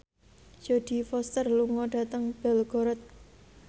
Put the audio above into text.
Jodie Foster lunga dhateng Belgorod